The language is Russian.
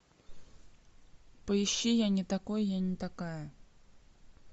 поищи я не такой я не такая